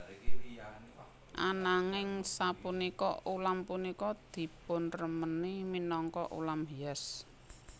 Ananging sapunika ulam punika dipunremeni minangka ulam hias